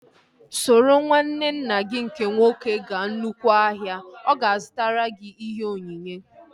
Soro nwanne nna gị nke nwoke gaa nnukwu ụlọ ahịa! Ọ ga-azụtara gị ihe onyinye